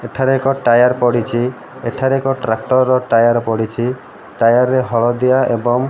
ଏଠାରେ ଏକ ଟାୟାର୍ ପଡ଼ିଛି ଏଠାରେ ଏକ ଟ୍ରାକ୍କର୍ ର ଟାୟାର୍ ପଡ଼ିଛି ଟାୟାର୍ ରେ ହଳଦିଆ ଏବଂ --